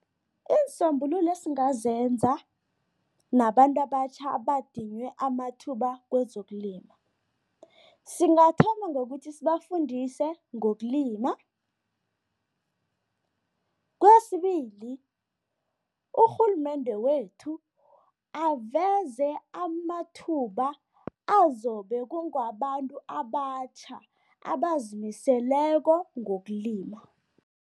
Iinsombululo esingazenza nabantu abatjha abadinywe amathuba kwezokulima, singathoma ngokuthi sibafundise ngokulima. Kwesibili, urhulumende wethu aveze amathuba azobe kunge wabantu abatjha, abazimiseleko ngokulima.